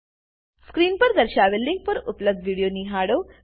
screen પર દર્શાવેલ link પર ઉપલબ્ધ વિડીયો જુઓ